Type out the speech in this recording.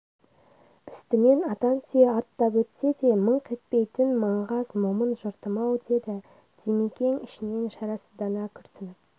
үстінен атан түйе аттап өтсе де мыңқ етпейтін маңғаз момын жұртым-ау деді димекең ішінен шарасыздана күрсініп